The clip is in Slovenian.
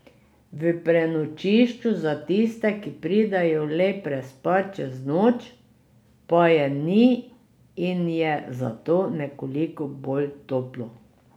V prenočišču za tiste, ki pridejo le prespat čez noč, pa je ni in je zato nekoliko bolj toplo.